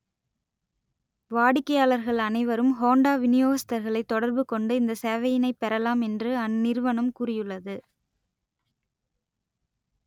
வாடிக்கையாளர்கள் அனைவரும் ஹோண்டா விநியோகஸ்தர்களை தொடர்பு கொண்டு இந்த சேவையினைப் பெறலாம் என்று அந்நிறுவனம் கூறியுள்ளது